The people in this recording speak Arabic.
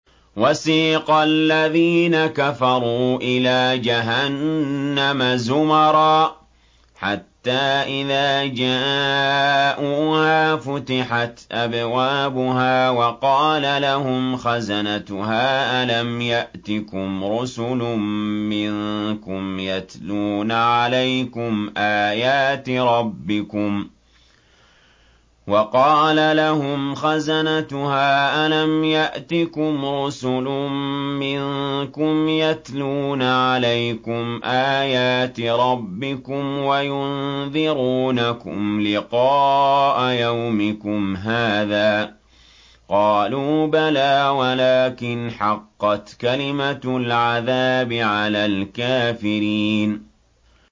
وَسِيقَ الَّذِينَ كَفَرُوا إِلَىٰ جَهَنَّمَ زُمَرًا ۖ حَتَّىٰ إِذَا جَاءُوهَا فُتِحَتْ أَبْوَابُهَا وَقَالَ لَهُمْ خَزَنَتُهَا أَلَمْ يَأْتِكُمْ رُسُلٌ مِّنكُمْ يَتْلُونَ عَلَيْكُمْ آيَاتِ رَبِّكُمْ وَيُنذِرُونَكُمْ لِقَاءَ يَوْمِكُمْ هَٰذَا ۚ قَالُوا بَلَىٰ وَلَٰكِنْ حَقَّتْ كَلِمَةُ الْعَذَابِ عَلَى الْكَافِرِينَ